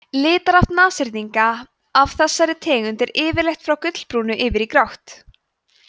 litarhaft nashyrninga af þessari tegund er yfirleitt frá gulbrúnu yfir í grátt